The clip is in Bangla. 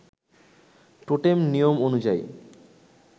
টোটেম নিয়ম অনুযায়ী